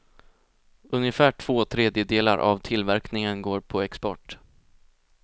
Ungefär två tredjedelar av tillverkningen går på export.